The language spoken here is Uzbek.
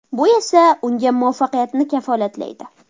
Bu esa unga muvaffaqiyatni kafolatlaydi.